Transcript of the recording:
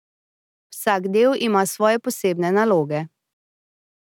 Vsak del ima svoje posebne naloge.